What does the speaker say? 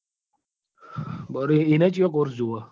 એનો કયો course જોવે?